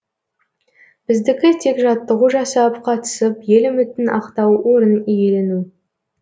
біздікі тек жаттығу жасап қатысып ел үмітін ақтау орын иелену